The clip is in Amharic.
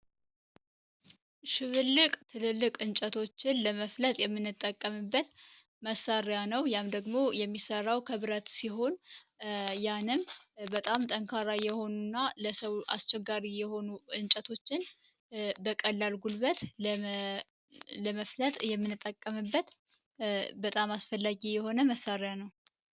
ሽብልቅ ሽብልቅ እንጨቶችን ለመፍለጥ የምንጠቀምበት መሳሪያ ነው ያም ደግሞ የሚሰራው ከብረት ሲሆን ያም በጣም ጠንካራ የሆኑና ለሰው ልጅ አስቸጋሪ የሆኑም እንጨቶችን በቀላሉ ለመፍለጥ የምንጠቀምበት መሳርያ ነው።